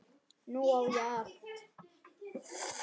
Nú á ég allt.